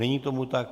Není tomu tak.